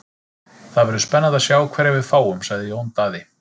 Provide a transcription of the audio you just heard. Það verður spennandi að sjá hverja við fáum, sagði Jón Daði.